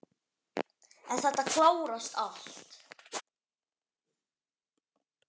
En þetta klárast allt.